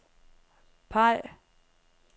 peg